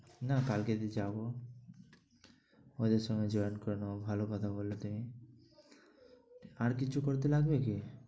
না কালকে যে যাব ওদের সঙ্গে join করে নেব। ভালো কথা বললে তুমি। আর কিছু করতে লাগবে কি?